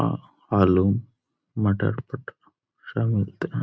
अ आलू मटर सब मिलता है।